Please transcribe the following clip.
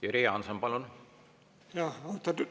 Jüri Jaanson, palun!